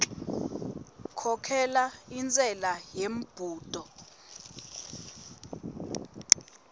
khokhela intshela yembudo